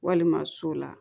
Walima so la